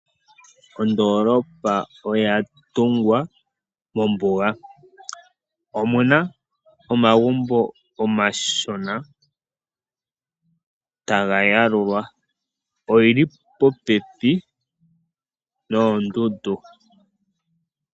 Ondoolopa oya tungwa mombuga. Omuna omagumbo omashona taga yalulwa. Oyili popepi noondundu.